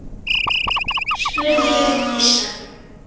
spurði ég hissa.